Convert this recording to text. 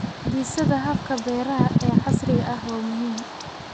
Dhisida hababka beeraha ee casriga ah waa muhiim.